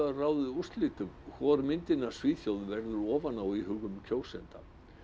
ráðið úrslitum hvor myndin af Svíþjóð verður ofan á í huga kjósenda